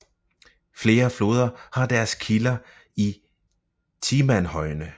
Flere floder har deres kilder i Timanhøjene